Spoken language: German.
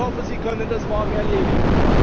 Ich hoffe, Sie können das morgen erledigen.